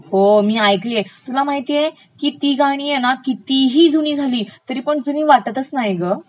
हो ऐकलिय, तुला माहितेय का ती गाणी हे ना कितीही जुनी झाली तरी जुनी वाटतचं नाहीत गं